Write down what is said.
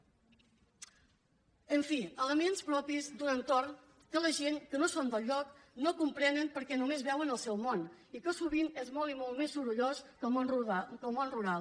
en fi elements propis d’un entorn que la gent que no són del lloc no comprenen perquè només veuen el seu món que sovint és molt i molt més sorollós que el món rural